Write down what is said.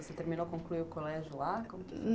Você terminou, concluiu o colégio lá?